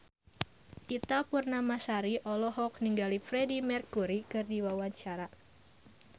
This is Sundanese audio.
Ita Purnamasari olohok ningali Freedie Mercury keur diwawancara